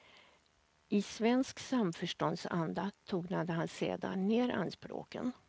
I svensk samförståndsanda tonade han sedan ner anspråken.